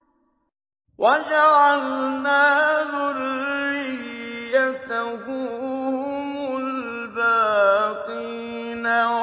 وَجَعَلْنَا ذُرِّيَّتَهُ هُمُ الْبَاقِينَ